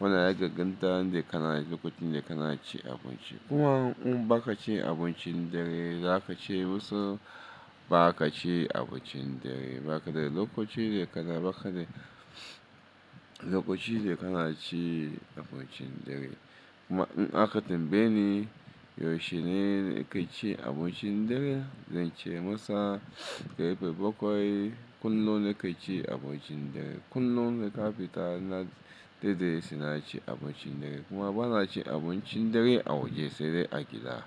Wannan ya dan ganta ya kama lokacin da ka na ci abinci. Kuma in ba ka ci abincin dare, za ka ce musu ba ka ci abincin dare. Ba ka da lokaci da ka na, ba ka da lokaci da ka na ci abincin dare. Kuma in aka tambaye ni yaushe ne na kai ci abincin dare, zan ce musu karfe bakwai kullum na kai ci abincin dare. Kullum na ƙafita na daidaita suna ci abincin dare. Kuma ba na ci abincin dare a waje sai dai a gida.